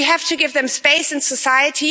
We have to give them space in society.